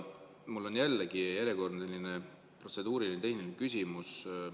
Mul on järjekordne selline protseduuriline-tehniline küsimus.